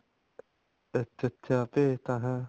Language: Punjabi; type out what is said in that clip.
ਅੱਛਾ ਅੱਛਾ ਭੇਜਤਾ ਹੈਂ